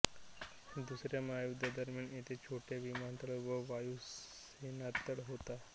दुसऱ्या महायुद्धादरम्यान येथे छोटा विमानतळ व वायुसेनातळ होता